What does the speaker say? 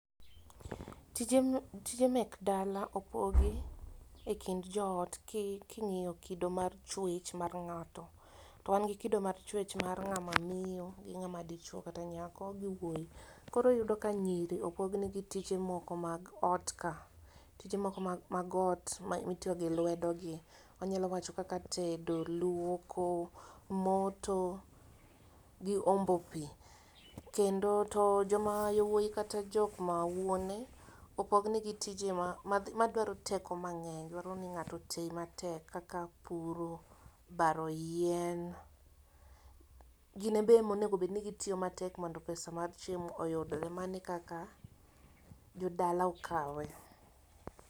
Tije mek dala opogi e kind jo ot ki ing'iyo kido mar chwech mar ng'ato .To wan gi kido mar chwech mar ng'a ma miyo gi mar ng'a ma dichuo kata mar nyako gi wuoyi. koro iyudo ka nyiri opog ne gi tije mag ot ka tije moko mag ot mi itiyo gi lwedo gi, anyalo wacho kaka tedo, lwoko, moto gi ombo pi. Kendo to jo ma wuoyi kata jo ma wuone opog ne gi tije ma ma dwaro teko ma ng'eny ,duaro ni ng'ato oti matek kaka puro, baro yien, gin ema onego bed ni gi tiyo matek mondo pesa mar chiemo oyudre mano e kaka jodala okawe.